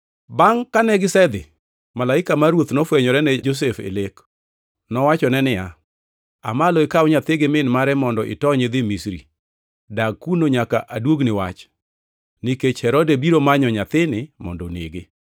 Bangʼ kane gisedhi, malaika mar Ruoth nofwenyore ne Josef e lek. Nowachone niya, “Aa malo ikaw nyathi gi min mare mondo itony idhi Misri. Dag kuno nyaka aduogni wach, nikech Herode biro manyo nyathini mondo onege.”